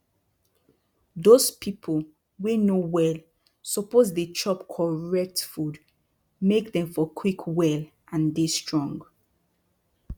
dose pipu wey no well suppose dey chop correct food make dem for quick well and dey strong